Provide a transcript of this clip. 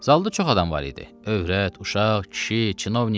Zalda çox adam var idi: övrət, uşaq, kişi, kinovnik.